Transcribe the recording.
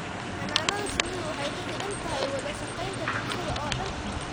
Xannaanada shinnidu waxay ku xidhan tahay wada shaqaynta bulshada oo dhan.